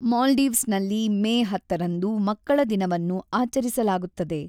ಮಾಲ್ಡೀವ್ಸ್‌ನಲ್ಲಿ May ಹತ್ತರಂದು ಮಕ್ಕಳ ದಿನವನ್ನು ಆಚರಿಸಲಾಗುತ್ತದೆ.